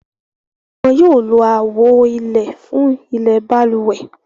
Wọ́n yóò lo àwo ilẹ̀ fún ilẹ̀ balùwẹ̀.